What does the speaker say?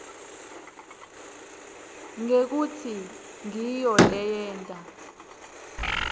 ngekutsi ngiyo leyenta